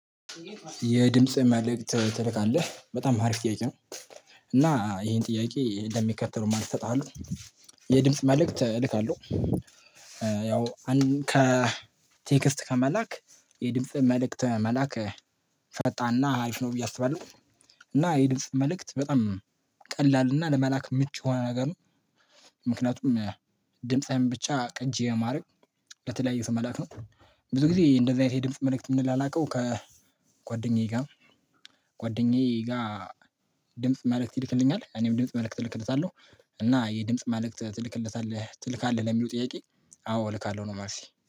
የድምጽ መልእክት ትልካለህ በጣም ሀሪፍ ጥያቄ ነው። እና ይሄን ጥያቄ ለሚከተሉም አለው። የድምጽ መልእክት እልካለሁ። ያው ከቴክስት ከመላክ የድምጽ መልእክት መላክ ፈጣና አሪፍ ነው። ብዬ አስባለሁ። እና የድምጽ መልእክት በጣም ቀላል እና ለመላክ ምች የሆነ ነገር ነው። ምክንያቱም ድምጻዊን ብቻ ቅጂ የማድረግ ለተለያዩ ስመላክ ነው። ብዙ ጊዜ እንደዚህ አይነት የድምጽ መልእክት የምንላላከው አላውቀው ከጓደኛዬ ጋር። ጓደኛዬ ጋር ድምጽ መልእክት ይልክልኛል እኔም ድምጽ መልእክት እልክልታለሁ። እና የድምጽ ማለቅ ትልክለታለህ ትልካለህ ለሚሉ ጥያቄ። አዎ እልካለሁ ነው ምልስ